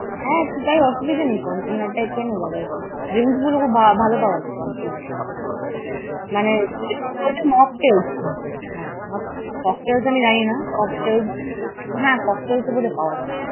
হ্যাঁ, সেটায় আসুবিধা নাই। পঞ্চমের আড্ডায় খেয়ে নেব আবার কি। drink গুলো খুব ভালো পাওয়া যায় পঞ্চমের আড্ডায়। মানে বল যে Mocktails কিন্তু হ্যাঁ, cocktails আমি জানি না, হ্যাঁ, cocktails বোধ হয় পাওয়া যায়।